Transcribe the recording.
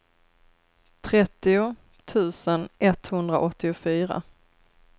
trettio tusen etthundraåttiofyra